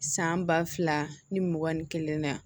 San ba fila ni mugan ni kelen na